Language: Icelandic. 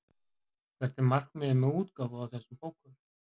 Hvert er markmiðið með útgáfu á þessum bókum?